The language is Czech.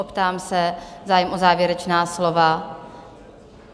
Optám se, zájem o závěrečná slova?